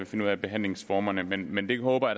finde ud af behandlingsformerne men men det håber